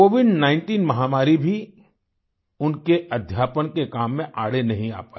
Covid 19 महामारी भी उनके अध्यापन के काम में आड़े नहीं आ पायी